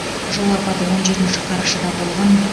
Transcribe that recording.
жол апаты он жетінші қарашада болған